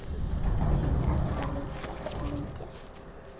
Þín Edda Lydía.